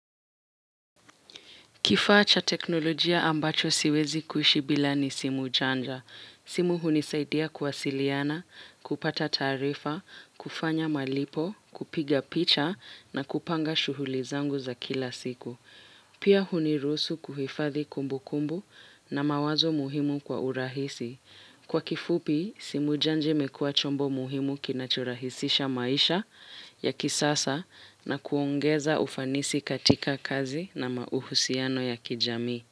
Kifaa cha teknolojia ambacho siwezi kuishi bila ni simu chanja. Simu hunisaidia kuwasiliana, kupata taarifa, kufanya malipo, kupiga picha na kupanga shughuli zangu za kila siku. Pia hunirusu kuhifadhi kumbukumbu na mawazo muhimu kwa urahisi. Kwa kifupi, simu janja imekua chombo muhimu kinacho rahisisha maisha ya kisasa na kuongeza ufanisi katika kazi na mauhusiano ya kijami.